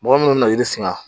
Mɔgɔ munnu be na yiri singa